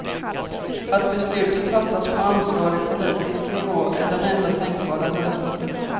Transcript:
Att beslutet fattas på ansvarig politisk nivå är den enda tänkbara lösningen.